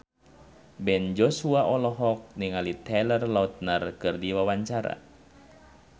Ben Joshua olohok ningali Taylor Lautner keur diwawancara